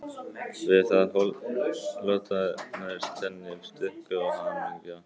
Við það hlotnaðist henni styrkur og hamingja